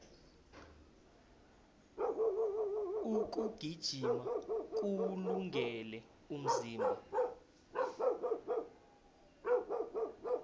ukugijima kuwulungele umzimba